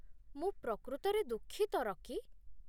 ମୁଁ ପ୍ରକୃତରେ ଦୁଃଖିତ, ରକି।